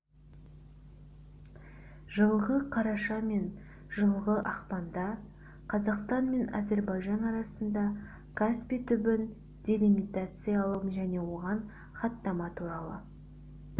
жылғы қараша мен жылғы ақпанда қазақстан мен әзербайжан арасында каспий түбін делимитациялау және оған хаттама туралы